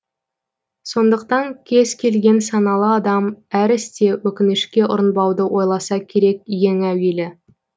сондықтан кез келген саналы адам әр істе өкінішке ұрынбауды ойласа керек ең әуелі